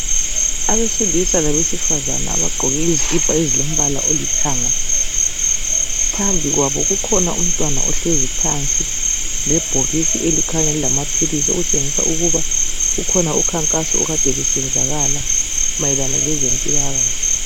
Abesilisa labesifazana abagqoke izikipa ezilombala olithanga, phambi kwabo kukhona umntwana ohlezi phansi lebhokisi elikhanya lilamapilizi, okutshengisa ukuba kukhona umkhankaso obusenzakala mayelana lezempilakahle.